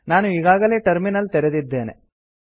ನಾನು ಈಗಾಗಲೇ ಟರ್ಮಿನಲ್ ತೆರೆದಿದ್ದೇನೆ